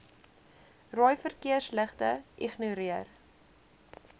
rooi verkeersligte ignoreer